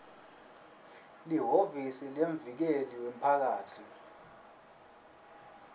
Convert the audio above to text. lihhovisi lemvikeli wemphakatsi